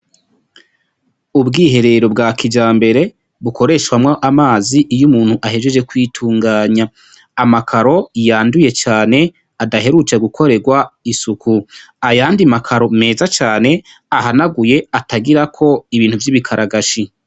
Ubwiherero bwa kijambere bukoreshwamwo amazi iyo umuntu ahejeje kwitunganya amakaro yanduye cane adaherutse gukoregwa isuku ayandi makaro meza cane ahanaguye atagirako ibintu vy' ibikaragashi.